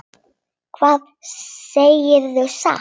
Það segirðu satt.